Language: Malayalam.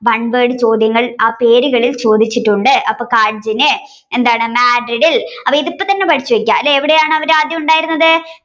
one word ചോദ്യങ്ങൾ ആ പേരുകളിൽ ചോദിച്ചിട്ടുണ്ട് അപ്പൊ കാഡ്ജിനെ എന്താണ് മാഡ്രിഡിൽ ഇതിപ്പോ തന്നെ പഠിച്ചു വയ്ക്കുക അല്ലെ എവിടെയാണ് അവർ ആദ്യം ഉണ്ടായിരുന്നത്